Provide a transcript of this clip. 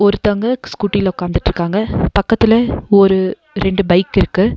ஒருத்தவங்க ஸ்கூட்டில ஒக்காந்துட்ருக்காங்க பக்கத்துல ஒரு ரெண்டு பைக் இருக்கு.